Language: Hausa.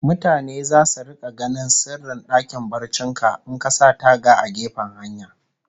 Mutane zasu rika ganin sirrin dakin barcin ka in ka sa taga a gefen hanya